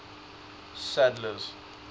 sadler's